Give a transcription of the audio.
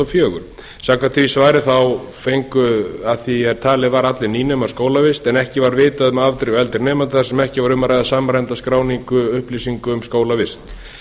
fjögur samkvæmt því svari fengu að því er talið var allir nýnemar skólavist en ekki var vitað um afdrif eldri nemenda þar sem ekki var um að ræða samræmda skráningu upplýsinga um skólavist